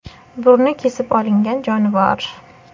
Burni kesib olingan jonivor.